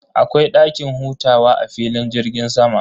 Akwai dakin hutawa a filin jirgin sama.